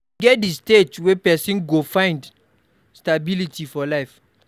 E get di stage wey person go dey find stability for life